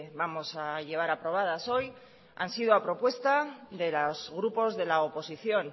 vamos a llevar aprobadas hoy han sido a propuesta de los grupos de la oposición